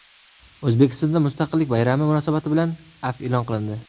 O‘zbekistonda mustaqillik bayrami munosabati bilan afv e’lon qilindi.